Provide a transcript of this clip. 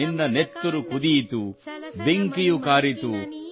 ನಿನ್ನ ನೆತ್ತುರು ಕುದಿಯಿತು ಬೆಂಕಿಯ ಕಾರಿತು